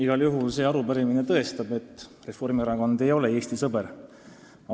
Igal juhul tõestab see arupärimine seda, et Reformierakond ei ole Eesti sõber.